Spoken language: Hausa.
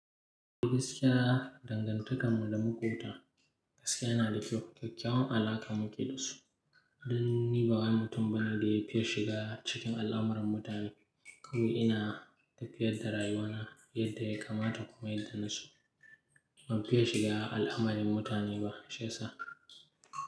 Gaskiya dangantakar mu da maƙota gaskiya yana da kyau, kyakkyawan alaka muke da su. Abin niban wani mutum bane da ya fiye shiga cikin al'amuran mutane. Kawai ina tafiyar da rayuwa na yadda ya kamata kuma yadda naso ban fiye shiga al'amarin mutane ba, shi yasa.